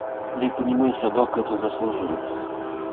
я понимаю собака этого заслуживает